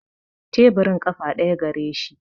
Teburin ƙafa ɗaya gareshi